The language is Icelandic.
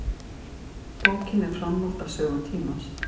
Bókin er framhald af Sögu tímans.